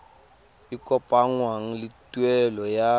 e kopanngwang le tuelo ya